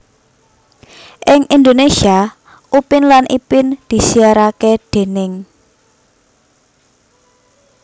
Ing Indonesia Upin lan Ipin disiarake déning